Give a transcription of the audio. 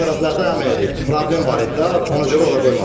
O tərəflərdə həm problem var idi də, ona görə ora qoymadım.